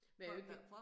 Men i øvrigt det